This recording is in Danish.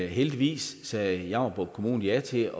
heldigvis sagde jammerbugt kommune ja til